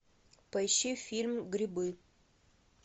поищи фильм грибы